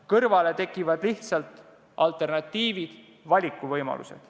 Kõrvale tekkivad lihtsalt alternatiivid, valikuvõimalused.